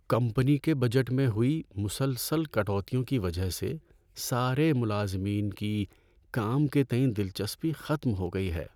Company کے budget میں ہوئی مسلسل کٹوتیوں کی وجہ سے سارے ملازمین کی کام کے تئیں دلچسپی ختم ہو گئی ہے۔